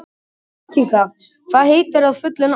Katinka, hvað heitir þú fullu nafni?